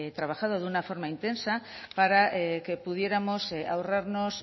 trabajado de una forma intensa para que pudiéramos ahorrarnos